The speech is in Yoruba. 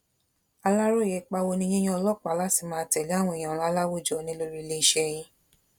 aláròye ipa wo ni yíyan ọlọpàá láti máa tẹlé àwọn èèyàn ńlá láwùjọ ní lórí iléeṣẹ yín